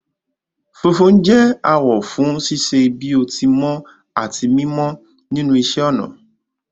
Funfun jẹ awọ fún ṣíṣe bí o ti mọ àti mímọ nínú iṣẹ́ ọnà